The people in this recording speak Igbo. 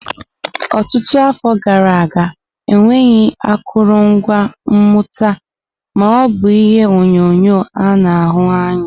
Ọtụtụ afọ gara aga, enweghị akụrụngwa mmụta, ma o bu ihe onyonyo a na-ahụ anya.